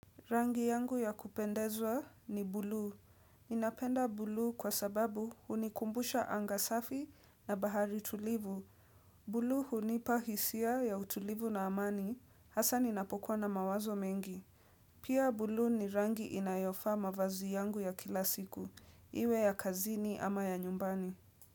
Rangi yangu ya kupendezwa ni bulu. Ninapenda buluu kwa sababu hunikumbusha anga safi na bahari tulivu. Buluu hunipa hisia ya utulivu na amani. Hasa ninapokwa na mawazo mengi. Pia buluu ni rangi inayofaa mavazi yangu ya kila siku. Iwe ya kazini ama ya nyumbani.